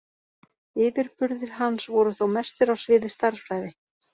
Yfirburðir hans voru þó mestir á sviði stærðfræði.